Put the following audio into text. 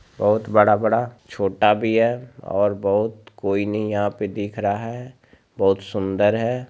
बहुत बड़ा-बड़ा छोटा भी है और बहुत कोई नहीं यहाँ पे दिख रहा है बहुत सुंदर है।